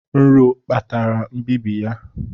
Nro kpatara mbibi ya